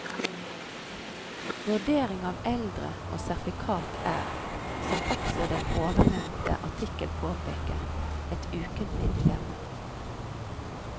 Vurdering av eldre og sertifikat er, som også den ovennevnte artikkel påpeker, et ukentlig dilemma.